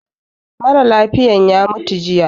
Mara lafiyan ya mutu jiya